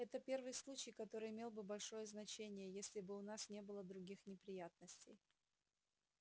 это первый случай который имел бы большое значение если бы у нас не было других неприятностей